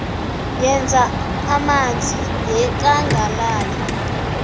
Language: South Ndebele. yezamanzi yekangala le